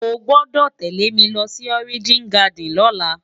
Ó gbòdò télé mi lòsi Òrijin Gàdín lòlá